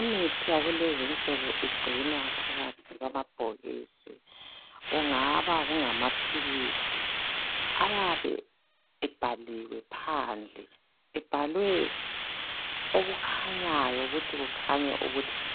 Imithi yakulezinsuku igcinwa phakathi kwamabhokisi. Kungaba kungamaphilisi ayabe ebhaliwe phandle ebhalwe okukhanyayo ukuthi